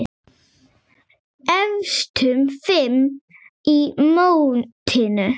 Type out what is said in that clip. Efstu fimm í mótinu